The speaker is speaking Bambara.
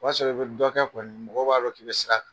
O b'a sɔrɔ i bɛ dɔ kɛ kɔni , mɔgɔw b'a dɔn k'i bɛ sira kan